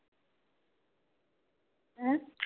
உம்